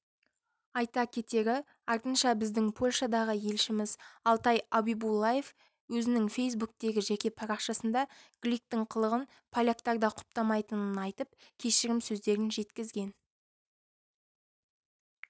айта кетері артынша біздің польшадағы елшіміз алтай абибуллаев өзінің фейсбуктегі жеке парақшасында гликтің қылығын поляктар да құптамайтынын айтып кешірім сөздерін жеткізген